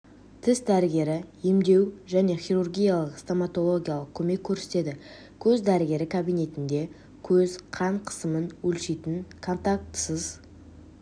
тіс дәрігері емдеу және хирургиялық стомоталогиялық көмек көрсетеді көз дәрігері кабинетінде көз қан қысымын өлшейтін контактысыз